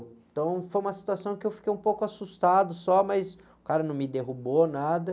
Então foi uma situação que eu fiquei um pouco assustado só, mas o cara não me derrubou, nada.